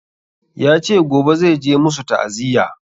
Yace gobe zai je musu ta'aziya